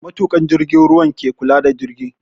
Matukan jirgin ruwan ke kula da jirgi